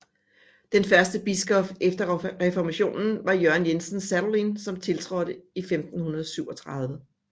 Den første biskop efter Reformationen var Jørgen Jensen Sadolin som tiltrådte i 1537